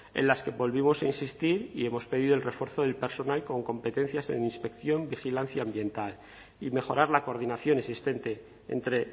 en las que volvimos a insistir y hemos pedido el refuerzo del personal con competencias en inspección vigilancia ambiental y mejorar la coordinación existente entre